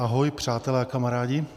Ahoj, přátelé a kamarádi.